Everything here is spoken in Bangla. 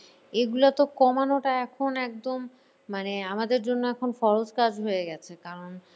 এগুলা তো কমানোটা এখন একদম মানে আমাদের জন্য এখন ফরজ কাজ হয়ে গেছে কারণ